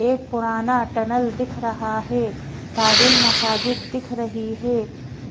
एक पुराना टनल दिख रहा है ताजुल मसाजिद दिख रही है